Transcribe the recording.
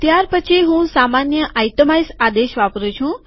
ત્યારપછી હું સામાન્ય આઈટમાઈઝ આદેશ વાપરું છું